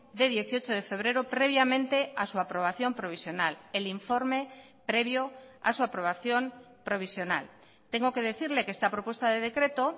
de dieciocho de febrero previamente a su aprobación provisional el informe previo a su aprobación provisional tengo que decirle que esta propuesta de decreto